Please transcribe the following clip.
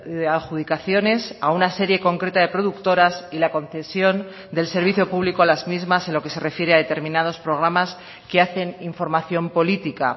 de adjudicaciones a una serie concreta de productoras y la concesión del servicio público a las mismas en lo que se refiere a determinados programas que hacen información política